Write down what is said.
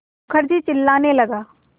मुखर्जी चिल्लाने लगा